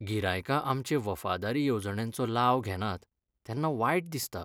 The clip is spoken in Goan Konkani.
गिरायकां आमचे वफादारी येवजण्यांचो लाव घेनात तेन्ना वायट दिसता.